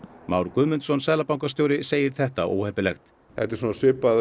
Már Guðmundsson seðlabankastjóri segir þetta óheppilegt þetta er svipað